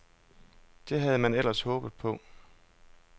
Det havde man ellers håbet på.